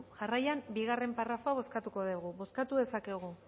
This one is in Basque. jarraian bigarren parrafoa bozkatuko dugu bozkatu dezakegu